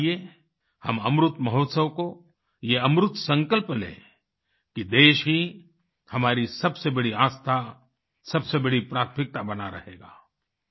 तो आइए हम अमृत महोत्सव को ये अमृत संकल्प लें कि देश ही हमारी सबसे बड़ी आस्था सबसे बड़ी प्राथमिकता बना रहेगा